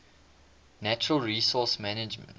natural resource management